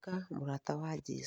Tuĩka mũrata wa jesũ